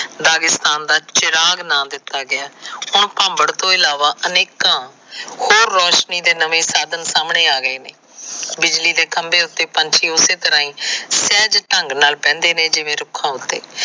Dagestan ਦਾ ਚਿਰਾਗ ਨਾ ਦਿੱਤਾ ਗਿਆਂ। ਹੁਣ ਭਾਬੜ ਤੋ ਇਲਾਵਾ ਅਨੇਕਾਂ ਹੋਰ ਰੋਸ਼ਨੀ ਦੇ ਨਵੇ ਸਾਧਨ ਆ ਗਏ। ਬਿਜਲੀ ਦੇ ਖਸ਼ਬੇ ਉਤੇ ਪੰਛੀ ਉਸੇ ਤਰਾਂ ਹੀ ੲਹਿਜ ਢੰਗ ਨਾਲ ਬੈਦੇ ਨੇ ਜਿਵੇ ਰੁੱਖਾਂ ਉਤੇ।